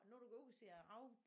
Når du går ud og ser rav